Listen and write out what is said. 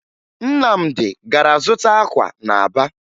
Nnamdị gara zụta akwa na Aba